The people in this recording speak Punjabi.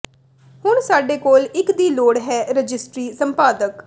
ਹੁਣ ਸਾਡੇ ਕੋਲ ਇੱਕ ਦੀ ਲੋੜ ਹੈ ਰਜਿਸਟਰੀ ਸੰਪਾਦਕ